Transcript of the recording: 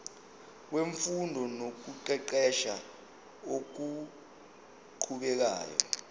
wemfundo nokuqeqesha okuqhubekayo